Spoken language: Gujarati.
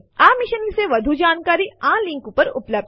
આ મિશન વિશે વધુ જાણકારી આ લિંક ઉપર ઉપલબ્ધ છે